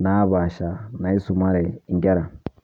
napaasha naisumare inkera.